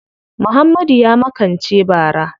Muhammadu ya makance bara.